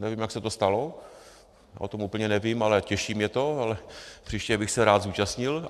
Nevím, jak se to stalo, o tom úplně nevím, ale těší mě to, ale příště bych se rád zúčastnil.